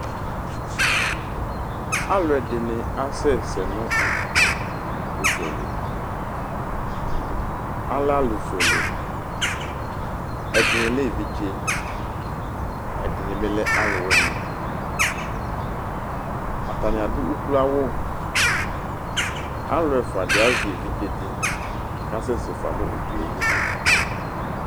Alʋ ɛdɩnɩ asɛsɛ nʋ ʊdzɔ li Alɛ alʋ fuele, ɛdɩ lɛ evidze ,ɛdɩnɩ bɩ lɛ alʋ wɩnɩAtanɩ adʋ ukloawʋ; alʋ ɛfʋa dɩ azɛ evidze dɩ kʋ akasɛsɛ fa nʋ ʊdzɔ yɛ li